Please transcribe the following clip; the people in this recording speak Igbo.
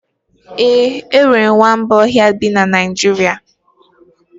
Ee, enwere nwamba ọhịa bi na Naịjirịa